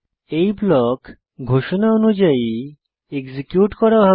এই ব্লক ঘোষণা অনুযায়ী এক্সিকিউট করা হবে